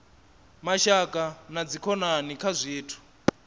mashaka na dzikhonani kha zwithu